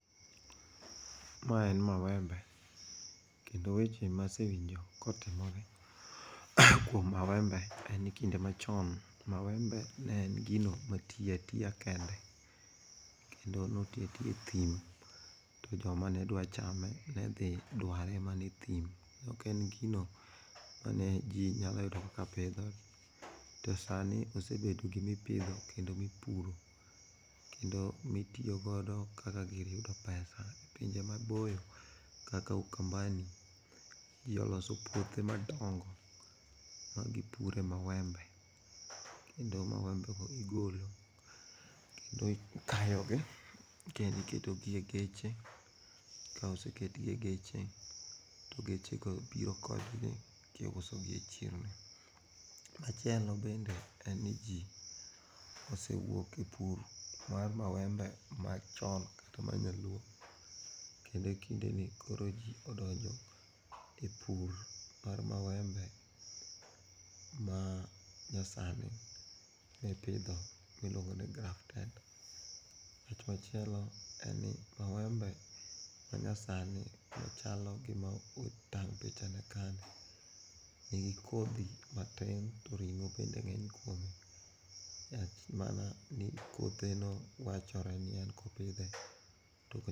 Ma en mawembe kendo weche masewinjo kotimore kuom mawembe en ni kinde machon, mawembe ne en gino ma ti atiya kende, kendo noti atiya e thim to joma nedwa chame ne dhi dware mana e thim. Ok en gino ma ne ji nyalo yudo kaka pidho to sani osebedo gimipidho kendo mipuro kendo mitiyogodo kaka gir yudo pesa e pinje maboyo kaka Ukambani ji oloso puothe madongo magipure mawembe, kendo mawembe go igolo, kendo ikayogi kendo iketogi e geche. Ka oseketgi e geche to geche go biro kodgi kiuosogi e chirni. Machielo bende en ni ji osewuok e pur mar mawembe machon kata ma nyaluo kendo kindeni koro ji odonjo e pur mar mawembe manyasani e pidho miluongo ni grafted. Wach machielo en ni, mawembe manyasani ochalo gima otang' pichane kani nigi kodhi matin to ring'o bende ng'eny kuome. Rach en mana ni kotheno wachore ni en kopidhe ...